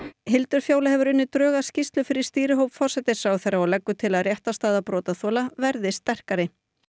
Hildur Fjóla hefur unnið drög að skýrslu fyrir stýrihóp forsætisráðherra og leggur til að réttarstaða brotaþola verði sterkari